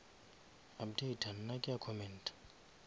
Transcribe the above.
updata nna ke a commenta